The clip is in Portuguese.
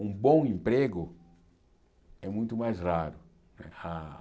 Um bom emprego é muito mais raro. Ah